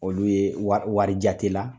Olu ye wari jate la